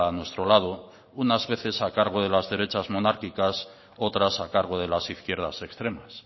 nuestro lado unas veces a cargo de las derechas monárquicas otras a cargo de las izquierdas extremas